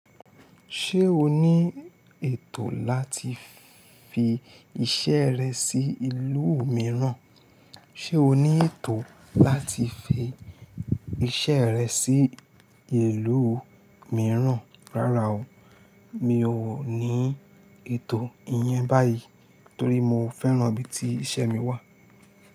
Ṣé o ní ètò láti fi iṣẹ́ rẹ sí ìlú mìíràn? Rárá o, mi ò ní ètò ìyẹn báyìí torí mo fẹ́ràn ibi tí iṣẹ́ mi wà.